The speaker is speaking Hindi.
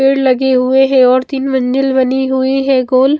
पेड़ लगे हुए हैं और तीन मंजिल बनी हुई है गोल।